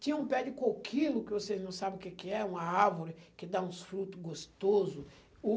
Tinha um pé de coquilo, que vocês não sabe o que que é, uma árvore que dá uns fruto gostoso. O